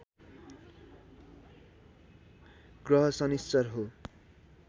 ग्रह शनिश्चर हो